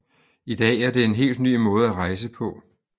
I dag er det en helt ny måde at rejse på